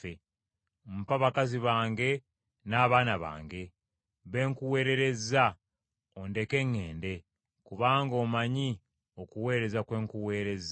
Mpa bakazi bange n’abaana bange, be nkuweererezza, ondeke ŋŋende: kubanga omanyi okuweereza kwe nkuweerezza.”